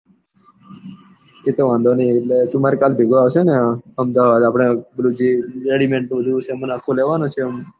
એ તો વાંધો ની તું કાલે મારી સભેગો આવશે ને અમદાવાદ? આપડે પેલું જે ready made નો સામાન જે લેવા નો છે આખો આમ